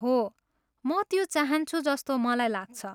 हो, म त्यो चाहन्छु जस्तो मलाई लाग्छ।